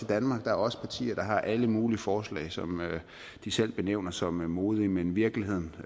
danmark der er også partier der har alle mulige forslag som de selv benævner som modige men virkeligheden